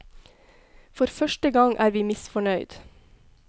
For første gang er vi misfornøyd.